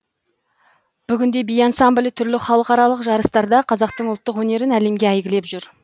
бүгінде би ансамблі түрлі халықаралық жарыстарда қазақтың ұлттық өнерін әлемге әйгілеп жүр